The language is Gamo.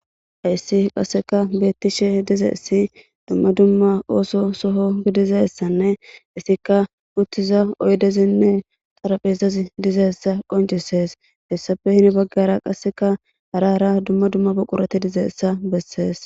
Hayssi qasseka beettishe dizeessi dumma dumma ooso soho gidizessanne issikka uttiza oydezinne qaraphezazi dizeessa qoncisees hessafe hini baggara qasseka hara ara dumma dumma buqurati dizeessa bessees.